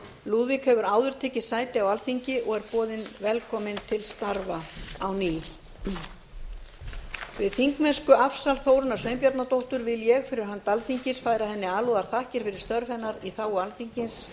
lúðvík hefur áður tekið sæti á alþingi og er boðinn velkominn til starfa á ný við þingmennskuafsal þórunnar sveinbjarnardóttur vil ég fyrir hönd alþingis færa henni alúðarþakkir fyrir störf hennar í þágu alþingis